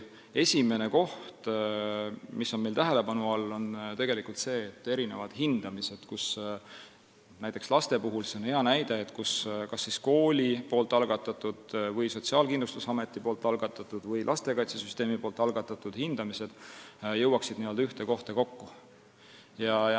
Esimene asi, mis on meil tähelepanu all, on see, et kõik hindamised – hea näide on kooli, Sotsiaalkindlustusameti või lastekaitsesüsteemi algatatud laste hindamised – jõuaksid n-ö ühte kohta kokku.